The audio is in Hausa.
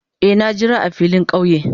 Eh, na jira a filin kauye.